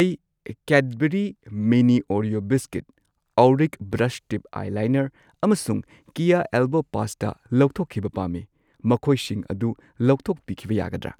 ꯑꯩ Cadbury mini Oreo biscuit, ꯑꯣꯔꯤꯛ brush tip eyeliner ꯑꯃꯁꯨꯡ ꯀꯦꯌꯥ ꯑꯦꯜꯕꯣ ꯄꯥꯁꯇꯥ ꯂꯧꯊꯣꯛꯈꯤꯕ ꯄꯥꯝꯃꯤ, ꯃꯈꯣꯏꯁꯤꯡ ꯑꯗꯨ ꯂꯧꯊꯣꯛꯄꯤꯈꯤꯕ ꯌꯥꯒꯗ꯭ꯔꯥ?